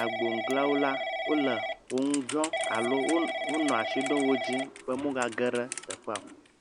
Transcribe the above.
agboŋuglãwo la wonɔ wo ŋu dzɔm alo wo wonɔ ashi ɖom wo dzi be womegage ɖe teƒea o.